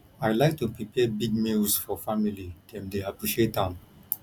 i like to prepare big meals for family dem dey appreciate am